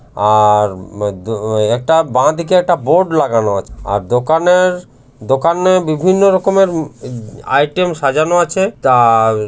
আর আ একটা বাঁদিকে একটা বোর্ড লাগানো আছে আর দোকানের দোকানে বিভিন্ন রকমের ম আইটেম সাজানো আছে তার --